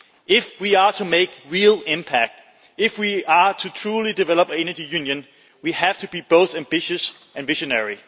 If we are to make a real impact if we are to truly develop an energy union we have to be both ambitious and visionary.